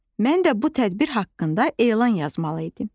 Mən də bu tədbir haqqında elan yazmalı idim.